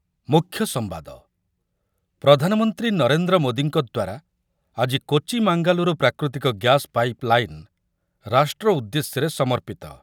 ମୁଖ୍ୟ ସମ୍ବାଦ, ପ୍ରଧାନମନ୍ତ୍ରୀ ନରେନ୍ଦ୍ର ମୋଦିଙ୍କ ଦ୍ୱାରା ଆଜି କୋଚି ମାଙ୍ଗାଲୁରୁ ପ୍ରାକୃତିକ ଗ୍ୟାସ ପାଇପ ଲାଇନ ରାଷ୍ଟ୍ର ଉଦ୍ଦେଶ୍ୟରେ ସମର୍ପିତ ।